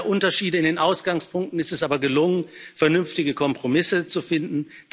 Trotz mancher Unterschiede in den Ausgangspunkten ist es aber gelungen, vernünftige Kompromisse zu finden.